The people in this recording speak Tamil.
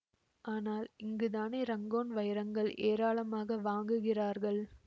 ஆனால் இங்கு தானே ரங்கோன் வைரங்கள் ஏராளமாக வாங்குகிறார்கள்